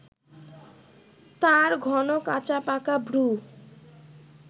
তাঁর ঘন কাঁচা-পাকা ভ্রু